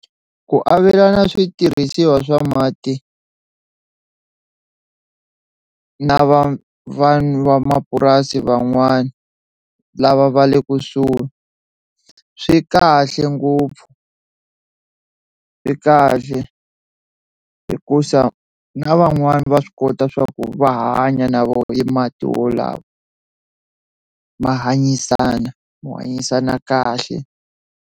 Ku avelana switirhisiwa swa mati na van'wamapurasi van'wani lava va le kusuhi swi kahle ngopfu, swi kahle hikusa na van'wani va swi kota swa ku va hanya na vona i mati wolawa ma hanyisana ma hanyisana kahle.